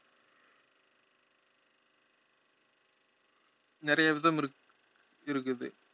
நிறைய விதம் இருக்~ இருக்குது